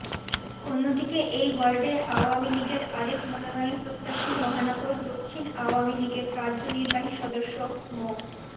অন্যদিকে এই ওয়ার্ডে আওয়ামী লীগের আরেক মনোনয়নপ্রত্যাশী মহানগর দক্ষিণ আওয়ামী লীগের কার্যনির্বাহী সদস্য মো